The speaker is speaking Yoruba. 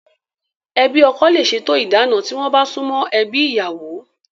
Ẹbi ọkọ le se to ìdáná, tí wọ́n bá sumo ebi ìyàwó